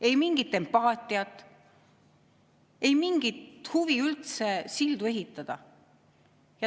Ei mingit empaatiat, ei mingit huvi üldse sildu ehitada.